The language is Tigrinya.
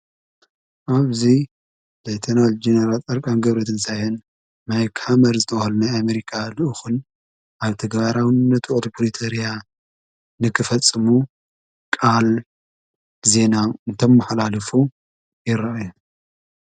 ኣብዙይ ላይተናል ጀነራት ዕርቃን ገብረትንሣየን ማይካመር ዝተውሃልኒይ ኣሜሪካ ልእኹን ኣብ ተገባራውነቱ ቕት ብሪተርያ ንኽፈጽሙ ቃል ዜና እንተመሕላልፉ ይረአየ።